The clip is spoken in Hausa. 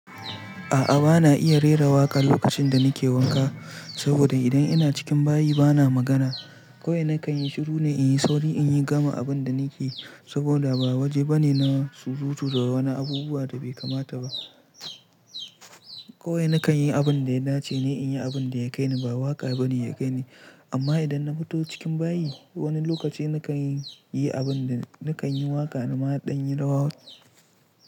A'a bana iya rera waƙa lokacin da nake wanka saboda idan ina cikin bayi bana magana. Kowai kan yi shiru ne in yi sauri in yi gama abin da nake saboda ba waje bane na surutu da wani abubuwa da bai kamata ba. Kowai nakan yi abin da ya dace ne in yi abin da ya kai ni ba waƙa bane ya kai ni. Amma idan na fito cikin bayi wani lokaci nakan yi abin nakan dan yi waƙa na ma ɗan yi rawa.